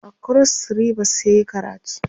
a kros ribas yayi karatu